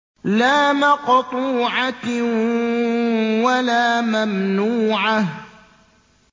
لَّا مَقْطُوعَةٍ وَلَا مَمْنُوعَةٍ